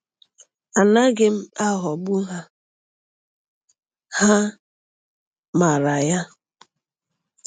Anaghị m aghọgbu ha—ha maara ya!